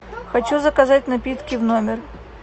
хочу заказать напитки в номер